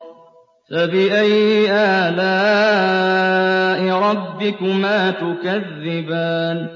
فَبِأَيِّ آلَاءِ رَبِّكُمَا تُكَذِّبَانِ